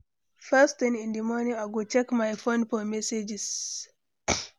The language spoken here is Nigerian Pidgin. First thing in di morning, I go check my phone for messages.